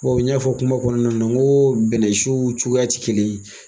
Bawo n y'a fɔ kuma kɔnɔna na ŋoo bɛnsiw cogoya ti kelen ye.